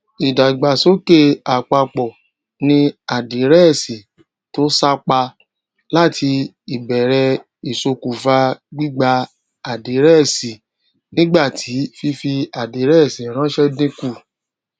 ìdàgbàsókè àpapọ ni àdírẹẹsì to sápá láti ìbèrè isokufa gbígba àdírẹẹsìnígbà tí fífi àdírẹẹsì ranṣẹ dínkù